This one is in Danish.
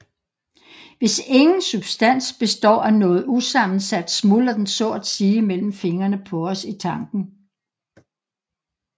Hvis ingen substans består af noget usammensat smuldrer den så at sige mellem fingrene på os i tanken